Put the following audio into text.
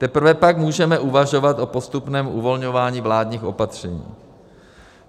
Teprve pak můžeme uvažovat o postupném uvolňování vládních opatření.